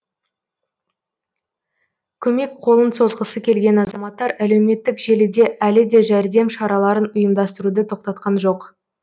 көмек қолын созғысы келген азаматтар әлеуметтік желіде әлі де жәрдем шараларын ұйымдастыруды тоқтатқан жоқ